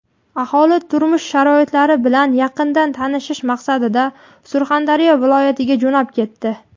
aholi turmush sharoitlari bilan yaqindan tanishish maqsadida Surxondaryo viloyatiga jo‘nab ketdi.